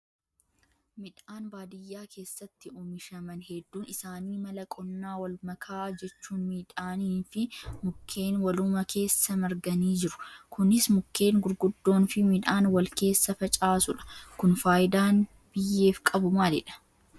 Miidhaan baadiyyaa keessatti oomishaman hedduun isaanii mala qonnaa wal makaa jechuun midhaanii fi mukkeen waluma keessa marganii jiru. Kunis mukkeen gurguddoon fi midhaan wal keessa facaasuudha. Kun fayidaan biyyeef qabu maalidhaa?